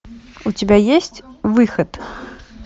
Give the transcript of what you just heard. у тебя есть выход